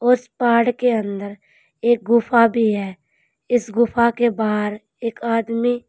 उस पहाड़ के अंदर एक गुफा भी है इस गुफा के बाहर एक आदमी--